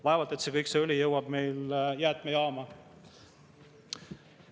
Vaevalt et kõik see õli jõuab jäätmejaama.